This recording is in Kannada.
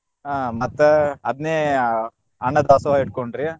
ಆಹ್ ಮತ್ತ ಅದ್ನೇ ಆಹ್ ಅನ್ನದಾಸೋಹ ಇಟ್ಕೊಂಡ್ರಿ.